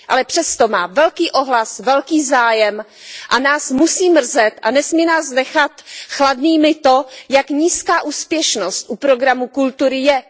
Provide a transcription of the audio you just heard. Ale přesto má velký ohlas, velký zájem a nás musí mrzet a nesmí nás nechat chladnými to, jak nízká úspěšnost u programu kultury je,